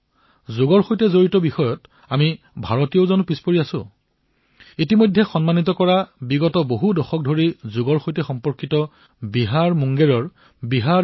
যদি এয়া যোগৰ সৈতে জড়িত বিষয় তেন্তে ভাৰতীয়সকল পিছ পৰি ৰব নেকি বিহাৰ যোগ বিদ্যালয় মুংগেৰকো সন্মানিত কৰা হৈছে যি কেইবা দশক ধৰি যোগ শিক্ষা প্ৰদান কৰি আহিছে